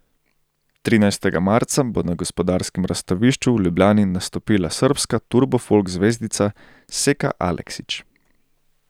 Trinajstega marca bo na Gospodarskem razstavišču v Ljubljani nastopila srbska turbo folk zvezdnica Seka Aleksić.